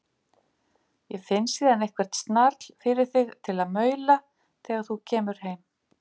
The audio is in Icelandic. Ég finn síðan til eitthvert snarl fyrir þig til að maula þegar þú kemur heim.